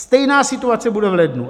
Stejná situace bude v lednu.